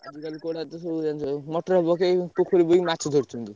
ଆଜି କାଲି କୋଉ ଭଳିଆ ତ ସବୁ ଜାଣିଚ motor ପକେଇ ପୋଖରୀ ମାଛ ଧରୁଛନ୍ତି।